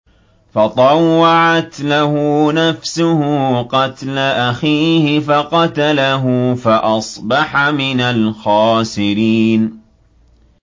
فَطَوَّعَتْ لَهُ نَفْسُهُ قَتْلَ أَخِيهِ فَقَتَلَهُ فَأَصْبَحَ مِنَ الْخَاسِرِينَ